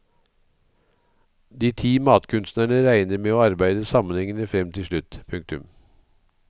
De ti matkunstnerne regner med å arbeide sammenhengende frem til slutt. punktum